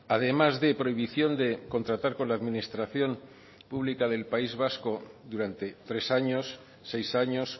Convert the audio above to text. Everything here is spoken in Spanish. además de prohibición de contratar con la administración pública del país vasco durante tres años seis años